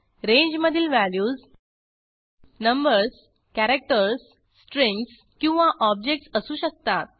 रेंजमधील values numbers characters strings किंवा objects असू शकतात